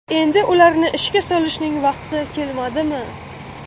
Endi ularni ishga solishning vaqti kelmadimi?